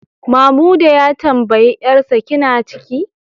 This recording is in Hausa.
Mamuda ya tambayi 'yarsa, kina ciki?